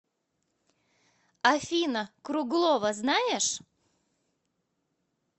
афина круглова знаешь